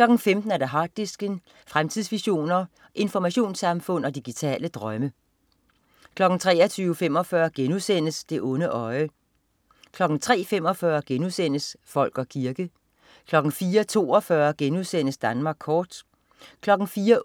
15.00 Harddisken. Fremtidsvisioner, informationssamfund og digitale drømme 23.45 Det onde øje* 03.45 Folk og kirke* 04.42 Danmark kort*